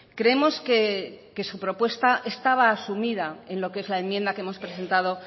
creemos que su propuesta estaba asumida en lo que es la enmienda que hemos presentado